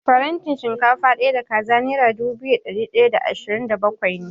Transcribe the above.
Farantin shinkafa ɗaya da kaza nera dubu biyu da ɗari ɗaya da ashirin da bakwai ne.